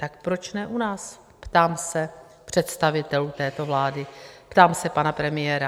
Tak proč ne u nás? ptám se představitelů této vlády, ptám se pana premiéra.